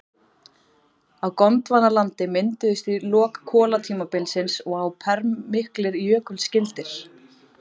Á Gondvanalandi mynduðust í lok kolatímabilsins og á perm miklir jökulskildir.